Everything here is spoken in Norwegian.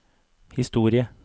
historie